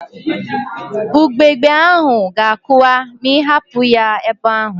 Ugbegbe ahụ ga-akụwa ma ịhapụ ya ebe ahụ